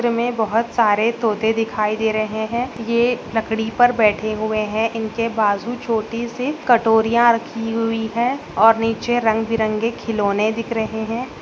में बहोत सारे तोते दिखाई दे रहे हैं। ये लकड़ी पर बैठे हुए हैं। इनके बाजू छोटी सी कटोरियाँ रखी हुई हैं और नीचे रंग बिरंगे खिलौने दिख रहे हैं।